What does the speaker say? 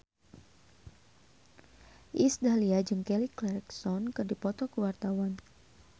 Iis Dahlia jeung Kelly Clarkson keur dipoto ku wartawan